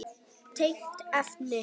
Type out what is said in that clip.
Tengt efni